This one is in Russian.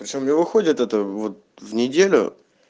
причём мне выходит это вот в неделю